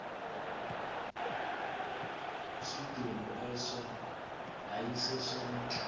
isidumbu eso yayisesomntu